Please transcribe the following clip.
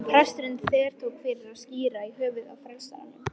En presturinn þvertók fyrir að skíra í höfuðið á frelsaranum.